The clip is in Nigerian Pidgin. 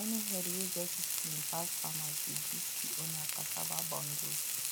any herd wey get discipline pass farmers dey gift the owner cassava bundles